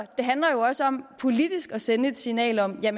det handler jo også om politisk at sende et signal om at